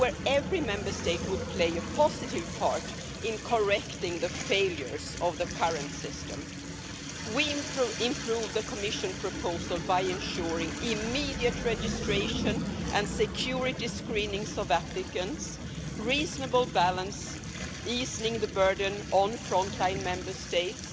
where every Member State would play a positive part in correcting the failures of the current system. We improved the Commission proposal by ensuring immediate registration and security screenings of applicants, reasonable balance, easing the burden on front line Member States